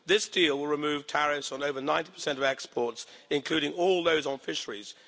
This deal will remove tariffs on over 90 of exports, including all those on fisheries.